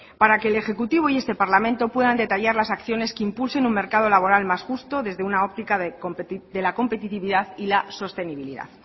para que el ejecutivo y este parlamento puedan detallar las acciones que impulsen un mercado laboral más justo desde una óptica de la competitividad y la sostenibilidad